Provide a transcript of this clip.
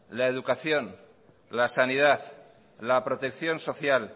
la educación la sanidad la protección social